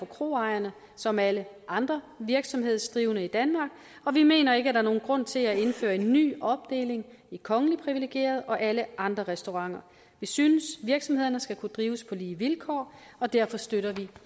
kroejere som alle andre virksomhedsdrivende i danmark og vi mener ikke at der er nogen grund til at indføre en ny opdeling i kongeligt priviligerede og alle andre restauranter vi synes virksomhederne skal kunne drives på lige vilkår og derfor støtter vi